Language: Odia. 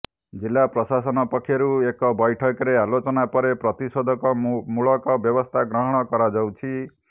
ଜିଲ୍ଲା ପ୍ରଶାସନ ପକ୍ଷରୁ ଏକ ବୈଠକରେ ଆଲୋଚନା ପରେ ପ୍ରତିଷେଧକ ମୂଳକ ବ୍ୟବସ୍ଥା ଗ୍ରହଣ କରାଯାଉଛି